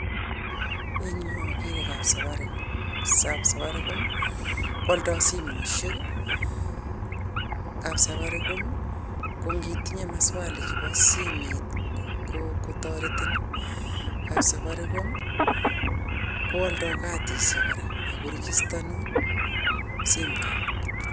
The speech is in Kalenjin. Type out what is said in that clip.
Eng nyu ageere kapsafaricom, kapsafaricom koaldoi simoishek, kapsafaricom kokitinyei maswali chebo simet kotoretin, kapsafaricom koaldoi kadishiek kora ako rigistanun simcard.